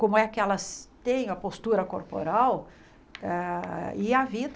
como é que elas têm a postura corporal ah e a vida.